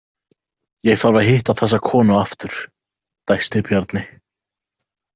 Ég þarf að hitta þessa konu aftur, dæsti Bjarni.